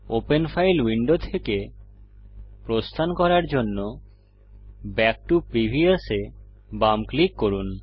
open file window থেকে প্রস্থান করার জন্য ব্যাক টো প্রিভিয়াস এ বাম ক্লিক করুন